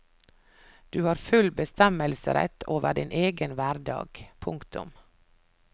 Du har full bestemmelsesrett over din egen hverdag. punktum